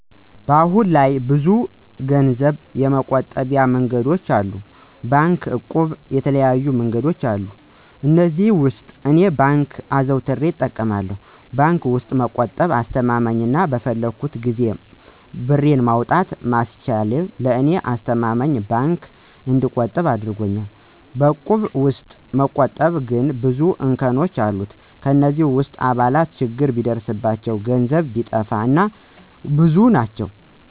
አሁን ላይ ብዙ ገንዘብ የመቆጠቢያ መንገዶች አሉ። ባንክ፣ እቁብ እና የተለያዩ መንገዶች አሉ። ከእነዚህም ውስጥ እኔ ባንክን አዘውትሬ እጠቀማለሁ። በባንክ ውስጥ መቆጠብ አስማማኝ አና በፈለኩት ጊዜ ብሬን ማውጣት ማስቻሉ ለእኔ ስለተስማማኝ በባንክ እንድቆጥብ አድርጎኛል። በእቁብ ውስጥ መቆጠብ ግን ብዙ እንከኖች አለት። ከእነዚህ ውስጥ አባላት ችግር ቢደርስባቸው፣ ገንዘብ ቢጠፋ እና እና ብዙ ናቸው።